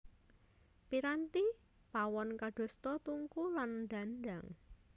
Piranti pawon kadosta tungku lan dhandhang